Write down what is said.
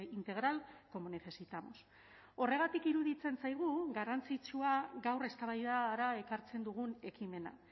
integral como necesitamos horregatik iruditzen zaigu garrantzitsua gaur eztabaidara ekartzen dugun ekimena